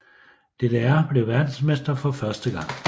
DDR blev verdensmestre for første gang